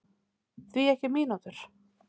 Því ekki mínútur?